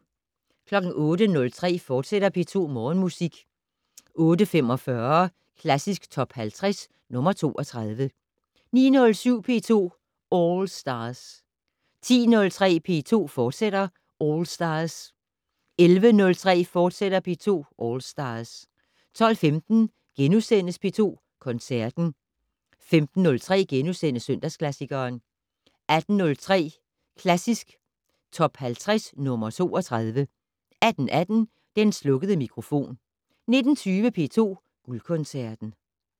08:03: P2 Morgenmusik, fortsat 08:45: Klassisk Top 50 - nr. 32 09:07: P2 All Stars 10:03: P2 All Stars, fortsat 11:03: P2 All Stars, fortsat 12:15: P2 Koncerten * 15:03: Søndagsklassikeren * 18:03: Klassisk Top 50 - nr. 32 18:18: Den slukkede mikrofon 19:20: P2 Guldkoncerten